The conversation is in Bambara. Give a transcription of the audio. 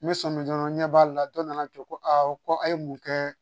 N bɛ sɔmi dɔrɔn ɲɛ b'a la dɔ nana to ko awɔ ko a' ye mun kɛ